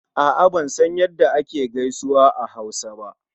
A'a ban san ya da ake gaisuwa a Hausa ba.